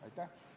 Aitäh!